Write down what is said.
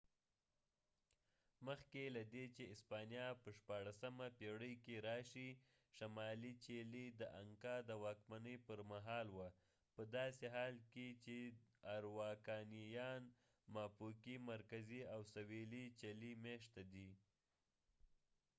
مخکې لدې چې اسپانیا په ۱۶ پیړۍ کې راشي، شمالي چیلي د انکا د واکمنۍ پرمهال وه په داسې حال کې چې آراوکانييان ماپوکي مرکزي او سویلي چلي مېشته دي